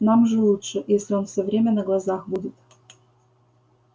нам же лучше если он все время на глазах будет